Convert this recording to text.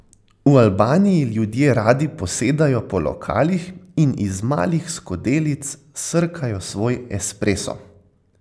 V Albaniji ljudje radi posedajo po lokalih in iz malih skodelic srkajo svoj espresso.